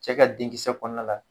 Cɛ ka denkisɛ kɔnɔna la.